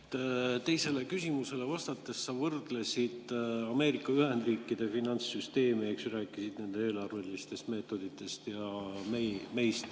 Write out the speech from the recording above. Urmas, teisele küsimusele vastates sa võrdlesid Ameerika Ühendriikide finantssüsteemi, rääkisid nende eelarvelistest meetoditest, ja meid.